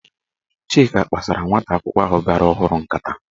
Chike kpasara nwata akwụkwọ ahụ bịara ọhụrụ nkata.